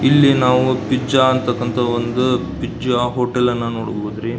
ಇಲ್ಲಿ ನಾವು ಪಿಜ್ಜಾ ಅಂತಕ್ಕಂಥ ಒಂದು ಪಿಜ್ಜಾ ಹೋಟೆಲ್ ಅನ್ನು ನಾವು ನೋಡಬಹುದು ರೀ.